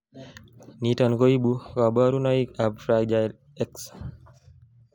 niton koibu kaborunoik ab Fragile X